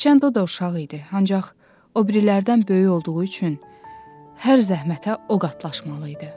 Hərçənd o da uşaq idi, ancaq o birilərdən böyük olduğu üçün hər zəhmətə o qatlaşmalı idi.